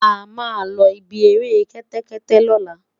ama lo ibí eré kété kété lola